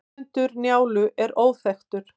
höfundur njálu er óþekktur